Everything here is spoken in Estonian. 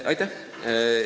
Aitäh!